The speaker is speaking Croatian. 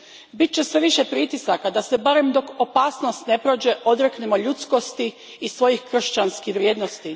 Bit će sve više pritisaka da se, barem dok opasnost ne prođe, odreknemo ljudskosti i svojih kršćanskih vrijednosti.